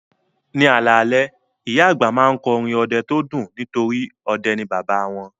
Ní alalẹ́, ìyá àgbà máa ń kọ́ orin ọdẹ tó dùn nítorí ọdẹ ni bàbá wọn